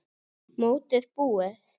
Mótið búið?